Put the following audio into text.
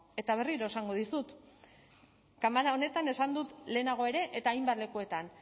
eta berriro esango dizut kamara honetan esan dut lehenago ere eta hainbat lekuetan